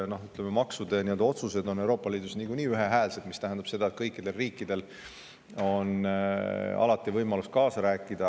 Maksuotsused on Euroopa Liidus niikuinii ühehäälsed, mis tähendab seda, et kõikidel riikidel on alati võimalus kaasa rääkida.